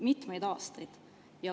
Mitmeid aastaid.